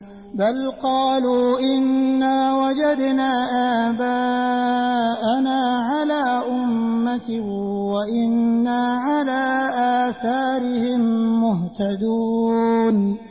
بَلْ قَالُوا إِنَّا وَجَدْنَا آبَاءَنَا عَلَىٰ أُمَّةٍ وَإِنَّا عَلَىٰ آثَارِهِم مُّهْتَدُونَ